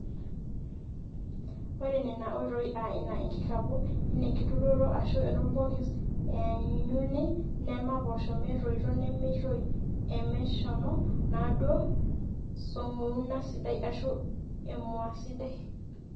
ore nena oitoi aa ina enkikapu, enenkiturrurro aashu enorbokis eenyuni nema poosho metoito nemeitoi emeshomo enaduuo song'ouna sidai ashu emua sidai